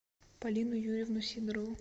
полину юрьевну сидорову